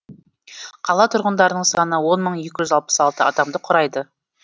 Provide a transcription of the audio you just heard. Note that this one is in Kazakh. қала тұрғындарының саны он мың екі жүз алпыс алты адамды құрайды